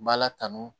N b'a la tanu